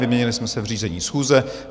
Vyměnili jsme se v řízení schůze.